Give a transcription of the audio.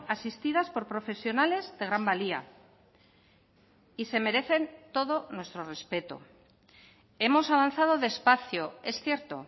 asistidas por profesionales de gran valía y se merecen todo nuestro respeto hemos avanzado despacio es cierto